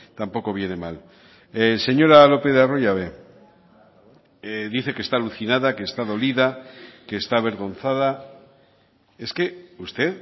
tampoco viene mal señora lopez de arroyabe dice que está alucinada que está dolida que está avergonzada es que usted